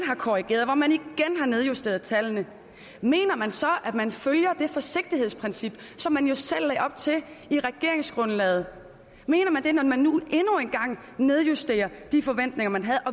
har korrigeret hvor man igen har nedjusteret tallene mener man så at man følger det forsigtighedsprincip som man jo selv lagde op til i regeringsgrundlaget mener man det når man nu endnu en gang nedjusterer de forventninger man havde